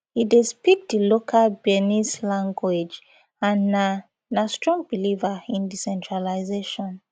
e dey speak di local bearnese language and na na strong believer in decentralisation